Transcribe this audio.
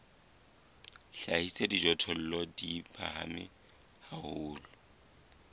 hlahisa dijothollo di phahame haholo